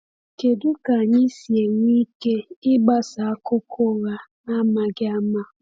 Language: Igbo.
Kedu ka anyị si enwe ike ịgbasa akụkọ ụgha n’amaghị ama?